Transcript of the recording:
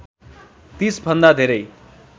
३० भन्दा धेरै